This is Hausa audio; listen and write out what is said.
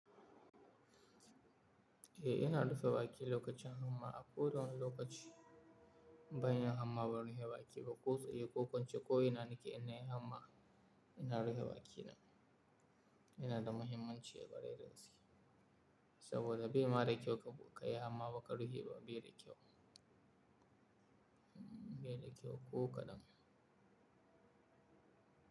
Eh, ina dafa wake lokacin nan ma. A kowane lokaci ban yin hamma ban rufe baki ba. Kai tsaye ko ko ince ko ina nake in na yi hannu ma ina rufe bakina. Ina da mahimmanci a garemu saboda bai ma dakyau ko ka yi hamma ba ka rufe ba, bai da kyau Baida kyau ko kaɗan.